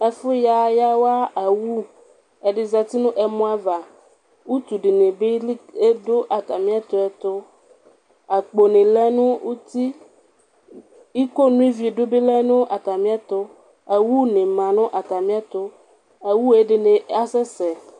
Ɛfʋya yaw awʋ, ɛdi zati nʋ ɛmɔava, utu dini bi dʋ atami ɛtʋ ɛtʋ akponi lɛnʋ uti, iko no ividʋ nibi lɛnʋ atami ɛtʋ, owʋni manʋ atami ɛtʋ awʋ ɛdini asɛsɛ